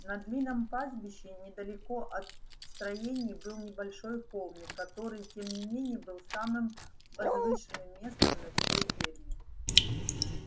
на длинном пастбище недалеко от строений был небольшой холмик который тем не менее был самым возвышенным местом на всей ферме